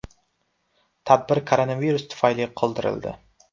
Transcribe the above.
Tadbir koronavirus tufayli qoldirildi .